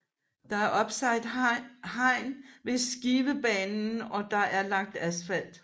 Der er opsat hegn mod Skivebanen og der er lagt asfalt